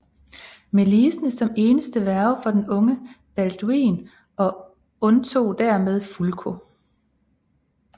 Melisende som eneste værge for den unge Balduin og undtog dermed Fulko